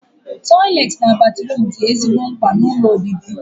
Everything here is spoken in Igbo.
Tọiletị na batruum dị ezigbo mkpa n'ụlọ obibi